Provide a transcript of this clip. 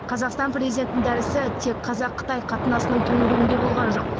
қазақстан президентінің дәрісі тек қазақ қытай қатынасының төңірегінде болған жоқ